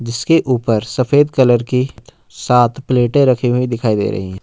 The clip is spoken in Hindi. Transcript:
जिसके ऊपर सफेद कलर की सात प्लेटे रखी हुई दिखाई दे रही है।